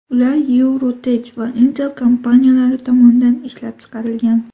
Ular EuroTech va Intel kompaniyalari tomonidan ishlab chiqarilgan.